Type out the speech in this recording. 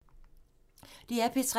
DR P3